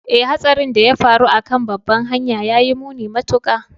Ee, Hatsarin da ya faru a kan babbar hanyar ya yi muni matuƙa